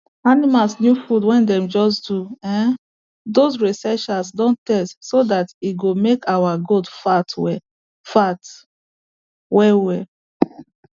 animals new food wey dem just do[um]doz researchers don test so that e go make our goat fat well fat well well